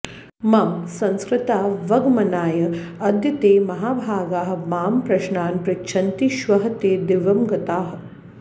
मम संस्कृतावगमनाय अद्य ते महाभागाः मां प्रश्नान् पृच्छन्ति श्वः ते दिवं गताः